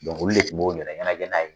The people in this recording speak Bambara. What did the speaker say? Dɔnku olu de tun b'u yɛrɛ ɲɛnajɛ n'a ye!